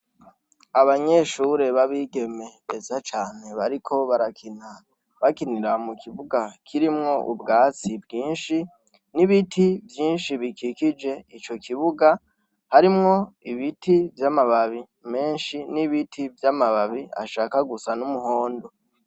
Abanyeshure b' abigeme beza cane bariko barakina bakinira mukibuga kirimwo ubwatsi bwinshi n' ibiti vyinshi bikikije ico kibuga harimwo ibiti vy' amababi menshi n' ibiti vy' amababi ashaka gusa n' umuhondo.